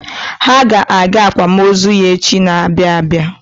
Ha ga-aga akwamozu ya echi na-abịa abịa.